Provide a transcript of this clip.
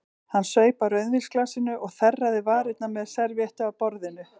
Hún saup af rauðvínsglasinu og þerraði varirnar með servíettu af borðinu.